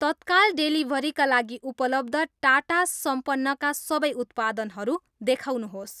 तत्काल डेलिभरीका लागि उपलब्ध टाटा सम्पन्नका सबै उत्पादनहरू देखाउनुहोस्।